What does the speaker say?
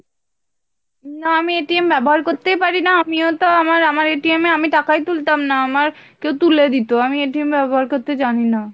না আমি ব্যাবহার করতেই পারিনা, আমিও তো আমার আমার এ আমি টাকাই তুলতাম না আমার কেউ তুলে দিতো আমি ব্যাবহার করতে জানিনা